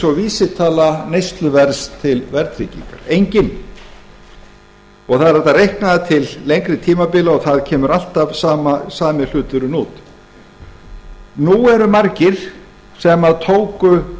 og vísitala neysluverðs til verðtryggingar enginn það er hægt að reikna það til lengri tímabila og það kemur alltaf sami hlutinn út nú eru maður sem tóku